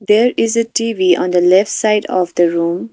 there is a T_V on the left side of the room.